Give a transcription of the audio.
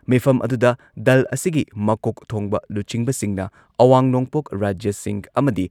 ꯃꯤꯐꯝ ꯑꯗꯨꯗ ꯗꯜ ꯑꯁꯤꯒꯤ ꯃꯀꯣꯛ ꯊꯣꯡꯕ ꯂꯨꯆꯤꯡꯕꯁꯤꯡꯅ, ꯑꯋꯥꯡ ꯅꯣꯡꯄꯣꯛ ꯔꯥꯖ꯭ꯌꯁꯤꯡ ꯑꯃꯗꯤ